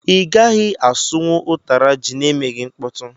I gaghị asụ nwụ ụtara jị na emeghị mkpọtu.